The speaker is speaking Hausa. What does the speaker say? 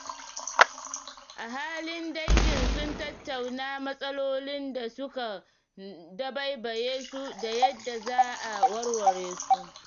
Ahalin dangin sun tattauna matsalolin da suka dabaibaye su da yadda za a warware su.